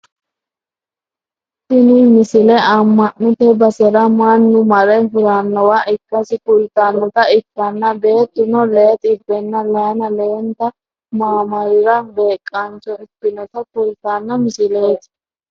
tini misile amma'note basera mannu mare hurannowa ikkasi kultannota ikkanna beettuno lee xibbenna layiina leelte maamarira beeqaancho ikkinota kultanno misileti